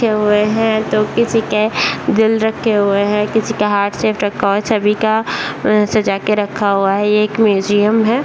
रखे हुए हैं तो किसी के दिल रखे हुए हैं किसी के हार्ट शेप रखा हुआ है सभी का सजा के रखा हुआ है ये एक म्यूजियम है।